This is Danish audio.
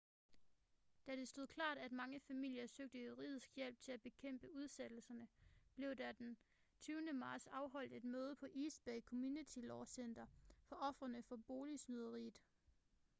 da det stod klart at mange familier søgte juridisk hjælp til at bekæmpe udsættelserne blev der den 20. marts afholdt et møde på east bay community law center for ofrene for boligsnyderiet